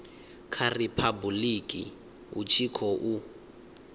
kha riphabuḽiki hu tshi khou